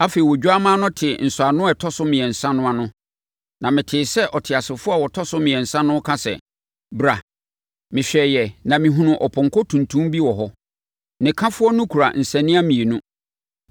Afei, Odwammaa no tee nsɔano a ɛtɔ so mmiɛnsa no ano, na metee sɛ ɔteasefoɔ a ɔtɔ so mmiɛnsa no reka sɛ, “Bra!” Mehwɛeɛ, na mehunuu ɔpɔnkɔ tuntum bi wɔ hɔ. Ne kafoɔ no kura nsania mmienu.